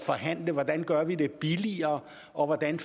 forhandle hvordan vi gør det billigere og hvordan